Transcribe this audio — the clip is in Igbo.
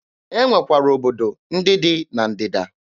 E nwekwara obodo ndị dị na Ndịda.